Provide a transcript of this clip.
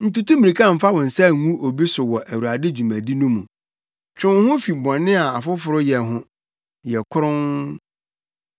Ntutu mmirika mfa wo nsa ngu obi so wɔ Awurade dwumadi no mu. Twe wo ho fi bɔne a afoforo yɛ ho. Yɛ kronn.